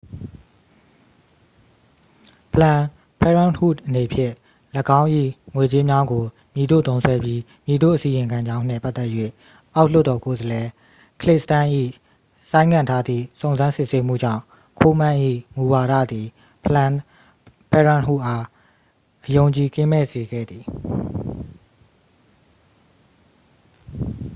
planned parenthood အနေဖြင့် ၎င်း၏ ငွေကြေးများကို မည်သို့သုံးစွဲပြီး မည်သို့အစီရင်ခံကြောင်းနှင့် ပတ်သက်၍ အောက်လွှတ်တော်ကိုယ်စားလှယ် ကလစ်စတမ်းစ်၏ ဆိုင်းငံ့ထားသည့် စုံစမ်းစစ်ဆေးမှုကြောင့် ကိုးမန်း၏ မူဝါဒသည် planned parenthood အား အယုံအကြည်ကင်းမဲ့စေခဲ့သည်